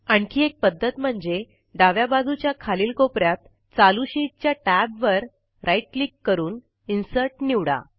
आणखी एक पध्दत म्हणजे डाव्या बाजूच्या खालील कोप यात चालू शीटच्या टॅबवर राईट क्लिक करून इन्सर्ट निवडा